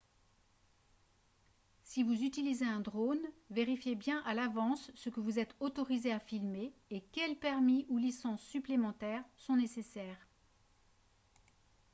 si vous utilisez un drone vérifiez bien à l'avance ce que vous êtes autorisé à filmer et quels permis ou licences supplémentaires sont nécessaires